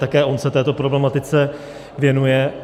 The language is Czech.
Také on se této problematice věnuje.